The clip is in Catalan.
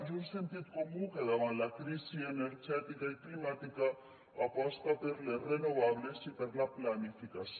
i un sentit comú que davant la crisi energètica i climàtica aposta per les renovables i per la planificació